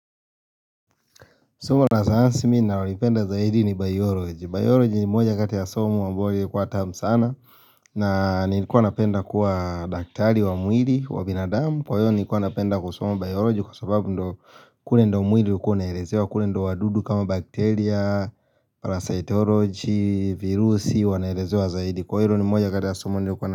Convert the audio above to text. Somo la sayansi mimi ninalolipenda zaidi ni bioloji. Bioloji ni moja kati ya somo ambalo lilikuwa tamu sana. Na nilikuwa napenda kuwa daktari wa mwili wa binadamu. Kwa hiyo nilikuwa napenda kusoma bioloji kwa sababu ndio kule ndio mwili ulikuwa unaelezewa. Kule ndio wadudu kama bakteria, parasitoloji, virusi wanaelezewa zaidi. Kwa hilo ni moja kati ya somo nilikuwa na.